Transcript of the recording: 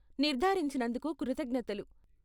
నిర్దారించినందుకు కృతజ్ఞతలు.